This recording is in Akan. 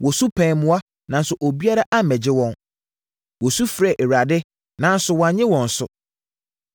Wɔsu pɛɛ mmoa, nanso obiara ammɛgye wɔn. Wɔsu frɛɛ Awurade, nanso wannye wɔn so.